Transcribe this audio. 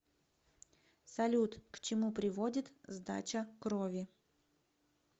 салют к чему приводит сдача крови